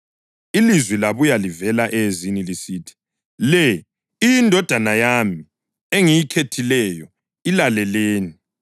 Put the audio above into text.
Ilizwi labuya livela eyezini lisithi, “Le yiNdodana yami engiyikhethileyo; ilaleleni.”